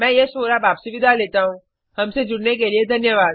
मैं यश वोरा आपसे विदा लेता हूँहमसे जुड़ने के लिए धन्यवाद